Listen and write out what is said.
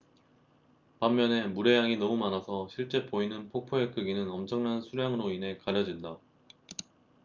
반면에 물의 양이 너무 많아서 실제 보이는 폭포의 크기는 엄청난 수량으로 인해 가려진다